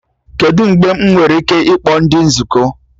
Kedụ mgbe m nwere ike ịkpọ ndị nzukọ?